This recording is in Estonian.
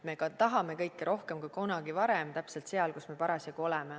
Me ka tahame kõike rohkem kui kunagi varem, täpselt seal, kus me parasjagu oleme.